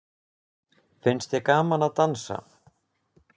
Finnst þér gaman að dansa?